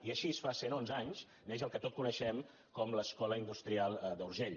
i així fa cent onze anys neix el que tots coneixem com l’escola industrial d’urgell